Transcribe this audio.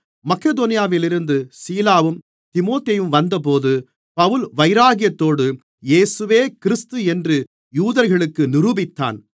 மக்கெதோனியாவிலிருந்து சீலாவும் தீமோத்தேயுவும் வந்தபோது பவுல் வைராக்கியத்தோடு இயேசுவே கிறிஸ்து என்று யூதர்களுக்கு நிரூபித்தான்